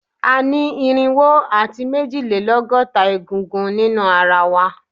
A ni irinwo ati mejilelọgọta egungun ninu ara wa